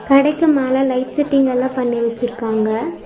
கடைக்கு மேல light setting எல்லா பண்ணி வெச்சிருக்காங்க.